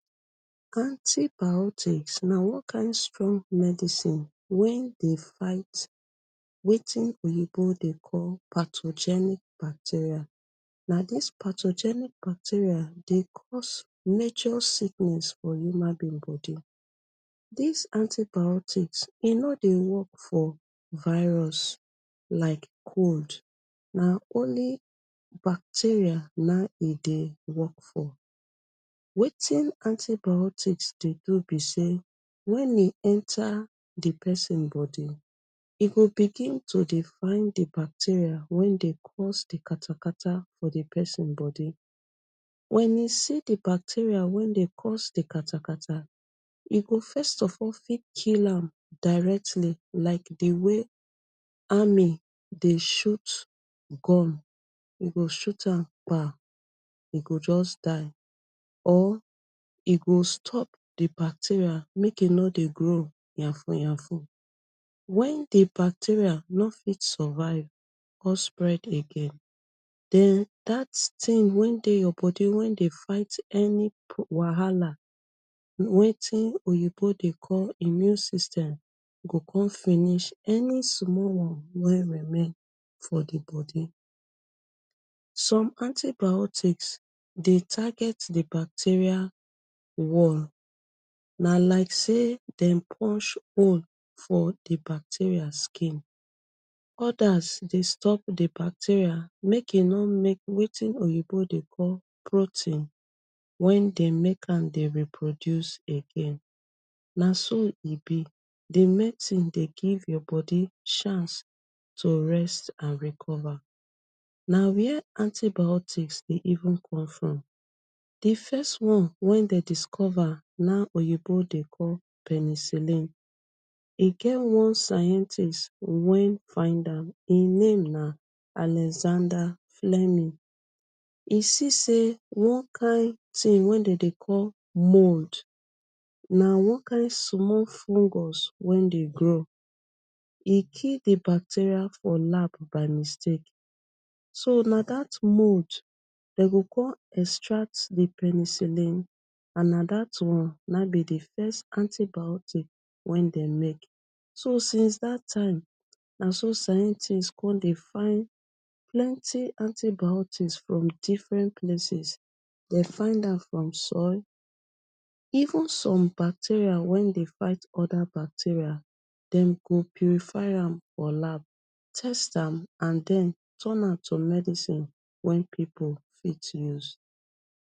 Antibiotics na one kind strong medicine wey dey fight wetin oyinbo dey call pathogenic bacteria, na dis pathogenic bacteria dey cause major sickness for human being body, dis antibiotics e no dey work for virus like cold, na only bacteria nah in e dey wrok for. Wetin antibiotis dey do b sey wen e enta d persin body e go begin dey find d bacteria wey dy find d katakata for d persin body, wen e see d bacteria wey dey cause d katakata e go first of all fit kill am like dway amry dey shoot gun, e go shoot am kpa, e go just die, or e go stop d bacteria make e no dey grow yanfuyanfu, wen d bacteria no fit survive or spread again den dat thing wey dey your body wey dey fight any wahala wetin oyinbo dey call immune system go con finish any small one wey remain for d body, some antibiotics dey target d bacteria one, na like sey dem punch hole for d bacteria skin, odas dey stop d bacteria make e no wetin oyinbo dey call protein wey dey make am dey reproduce egg, naso e b d medicince dey give your body chance to rest and recover, na where antibiotics dey even come from, d first one wey dem discover nah in oyinbo dey call penisilin, e get one scientist wey find am hin name na Alexander flemy, e see sey on kind thing wey dem dey call mold, na one kind fungus wey dey grow, e kill d bacteria for lap by mistake, so na dat mold dem go con extract d penicilin and na dat one na hin b d antibiotics wey dey make, so science dat time naso scientist con dey find plenty antibiotics from different places dem find am for soil, even some bacteria wey dey fight oda bacteria dem go purify am for lab, test am and den turn am to medicine wey pipu fit use.